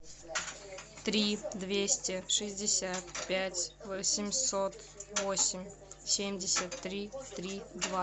три двести шестьдесят пять восемьсот восемь семьдесят три три два